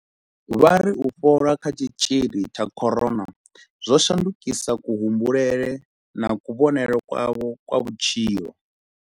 Vha ri u fhola kha tshitzhili tsha corona zwo shandukisa kuhumbulele na kuvhonele kwavho kwa vhutshilo.